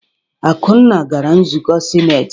Akunna gara nzukọ sinetị.